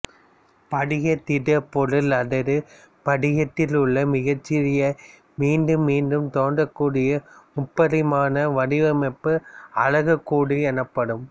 படிகத் திடப்பொருள் அல்லது படிகத்தில் உள்ள மிகச்சிறிய மீண்டும் மீண்டும் தோன்றக் கூடிய முப்பரிமாண வடிவமைப்பு அலகுக் கூடு எனப்படும்